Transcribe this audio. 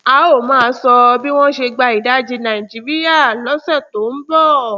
a óò máa sọ bí wọn ṣe gba ìdajì nàìjíríà lọsẹ tó ń bọ